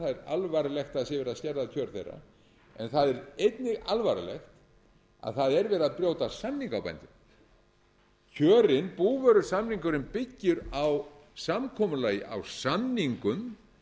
alvarlegt að það sé verið að skerða kjör þeirra en það er einnig alvarlegt að það er verið að brjóta samninga á bændum kjörin búvörusamningurinn byggir á samkomulagi á samningum